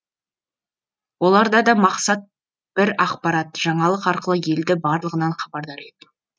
оларда да мақсат бір ақпарат жаңалық арқылы елді барлығынан хабардар ету